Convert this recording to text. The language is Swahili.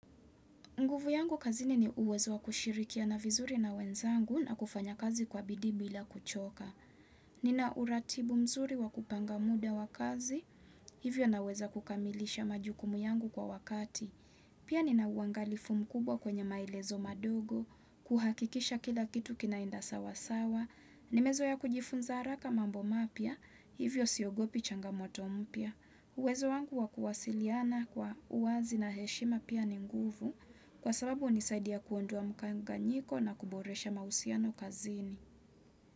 Nguvu yangu kazini ni uwezo wa kushirikiana vizuri na wenzangu na kufanya kazi kwa bidii bila kuchoka. Nina uratibu mzuri wa kupanga muda wa kazi, hivyo naweza kukamilisha majukumu yangu kwa wakati. Pia nina uangalifu mkubwa kwenye maelezo madogo, kuhakikisha kila kitu kinaenda sawasawa, nimezoea kujifunza haraka mambo mapya, hivyo siogopi changamoto mpya. Uwezo wangu wakuwasiliana kwa uwazi na heshima pia ni nguvu kwa sababu nisaidia kuondoa mkanganyiko na kuboresha mahusiano kazini.